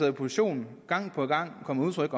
i opposition gang på gang kom med udtryk